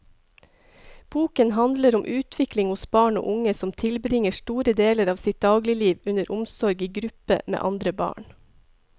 Boken handler om utvikling hos barn og unge som tilbringer store deler av sitt dagligliv under omsorg i gruppe med andre barn.